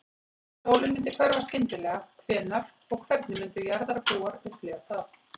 Ef sólin myndi hverfa skyndilega, hvenær og hvernig myndu jarðarbúar upplifa það?